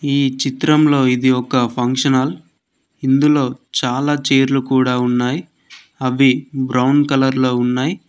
ఈ చిత్రంలో ఇది ఒక ఫంక్షన్ హాల్ ఇందులో చాలా చైర్ లు కూడా ఉన్నాయి అవి బ్రౌన్ కలర్ లో ఉన్నాయి.